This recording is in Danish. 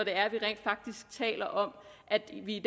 vi rent faktisk taler om at vi i